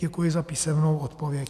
Děkuji za písemnou odpověď.